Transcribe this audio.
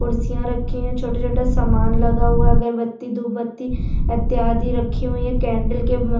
कुर्सियाँ रखी हैं छोटा-छोटा सामान लगा हुआ है अगरबत्ती धूपबत्ती इत्यादि रखी हुई हैं केंडल के म --